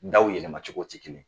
Daw yɛlɛmacogo ti kelen ye.